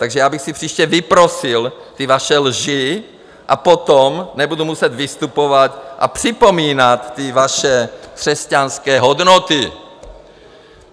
Takže já bych si příště vyprosil ty vaše lži a potom nebudu muset vystupovat a připomínat ty vaše křesťanské hodnoty.